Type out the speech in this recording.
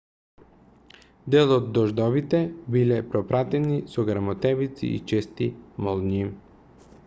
дел од дождовите биле пропратени со грмотевици и чести молњи